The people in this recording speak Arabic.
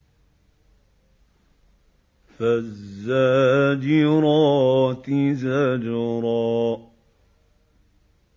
فَالزَّاجِرَاتِ زَجْرًا